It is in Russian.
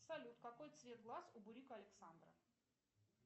салют какой цвет глаз у бурика александра